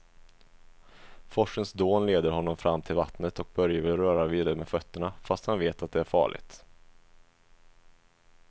Forsens dån leder honom fram till vattnet och Börje vill röra vid det med fötterna, fast han vet att det är farligt.